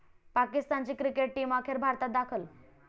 पाकिस्तानची cricket team अखेर भारतात दाखल